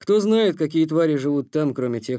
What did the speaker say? кто знает какие твари живут там кроме тех